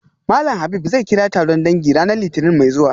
Malam Habib zai kira taron dangi ranar litinin mai zuwa